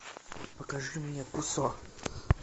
покажи мне кусо